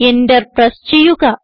enter press ചെയ്യുക